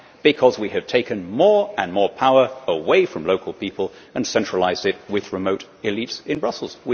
Because we have taken more and more power away from local people and centralised it with remote elites in Brussels.